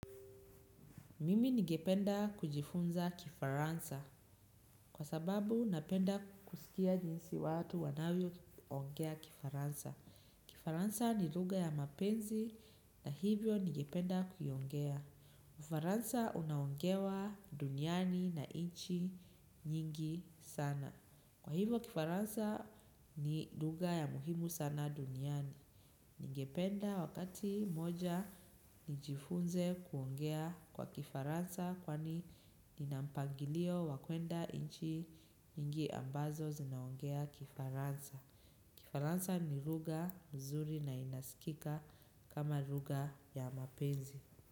Mimi ningependa kujifunza Kifaransa kwa sababu napenda kusikia jinsi watu wanavyoongea Kifaransa. Kifaransa ni lugha ya mapenzi na hivyo ningependa kuiongea. Ufaransa uonaongewa duniani na nchi nyingi sana. Kwa hivyo kifaransa ni lugha ya muhimu sana duniani. Ningependa wakati mmoja nijifunze kuongea Kifaransa kwani nina mpangilio wa kwenda nchi nyingi ambazo zinaongea Kifaransa. Kifaransa ni lugha nzuri na inasikika kama lugha ya mapenzi.